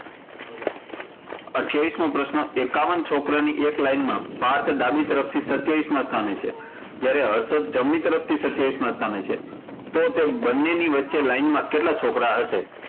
અઠયાવિશમો પ્રશ્ન, એકાવન છોકરાની એક line માં પાર્થ ડાબી તરફ થી સત્યાવીસ માં સ્થાને અને હર્ષદ જમણી તરફ થી સત્યાવીસ માં સ્થાને છે, તો તે બંનેની વચ્ચે line માં કેટલા છોકરા હસે?